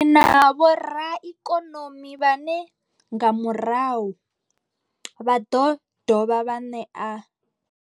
Ri na vhoraikonomi vhane nga murahu vha ḓo dovha vha ṋea.